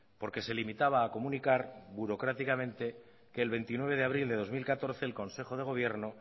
porque se limitaba a comunicar burocráticamente que el veintinueve de abril de dos mil catorce el consejo de gobierno